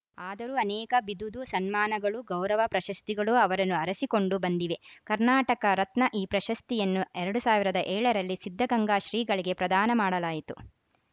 ಆದರೂ ಅನೇಕ ಬಿದುದು ಸನ್ಮಾನಗಳು ಗೌರವ ಪ್ರಶಸ್ತಿಗಳು ಅವರನ್ನು ಅರಸಿಕೊಂಡು ಬಂದಿವೆ ಕರ್ನಾಟಕ ರತ್ನ ಈ ಪ್ರಶಸ್ತಿಯನ್ನು ಎರಡ್ ಸಾವಿರದ ಏಳ ರಲ್ಲಿ ಸಿದ್ಧಗಂಗಾ ಶ್ರೀಗಳಿಗೆ ಪ್ರದಾನ ಮಾಡಲಾಯಿತು